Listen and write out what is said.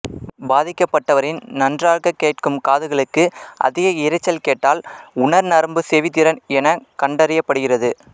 பாதிக்கப்பட்டவரின் நன்றாக கேட்கும் காதுகளுக்கு அதிக இரைச்சல் கேட்டால் உணர்நரம்புச் செவி திறன் எனக் கண்டறியப்படுகிறது